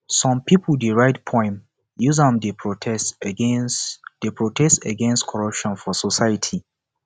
some pipo dey write poem use am dey protest against dey protest against corruption for society